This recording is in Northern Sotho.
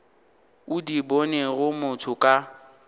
o di bonego motho ka